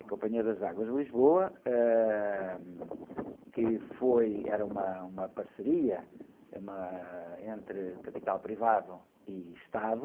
A Companhia das Águas de Lisboa, eh, que foi, era uma, uma parceria, uma, entre capital privado e Estado,